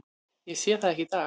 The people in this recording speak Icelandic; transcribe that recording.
Ég sé það ekki í dag.